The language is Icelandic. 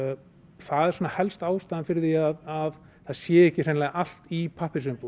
það er helsta ástæðan fyrir því að það sé ekki hreinlega allt í pappírsumbúðum